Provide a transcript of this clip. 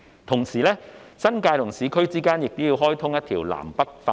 同時，新界與市區之間亦要開通一條南北快綫。